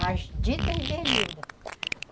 As ditas berlindas.